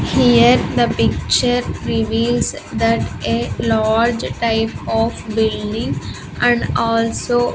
Here the picture reveals that a large type of building and also --